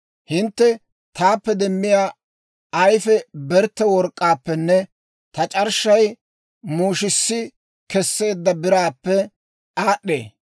Hintte taappe demmiyaa ayfii bertte work'k'aappenne ta c'arshshay muushissi kesseedda biraappe aad'd'ee.